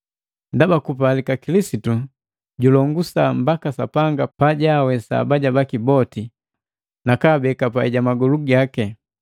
Ndaba kupalika Kilisitu julongosa mbaka Sapanga pajawesa abaja baki boti nakabeeka pai jamagolu gaki.